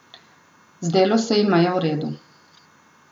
Zdelo se jima je v redu.